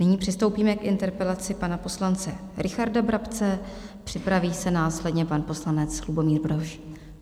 Nyní přistoupíme k interpelaci pana poslance Richarda Brabce, připraví se následně pan poslanec Lubomír Brož.